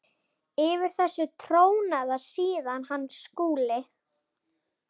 Yfir þessu trónaði síðan hann Skúli.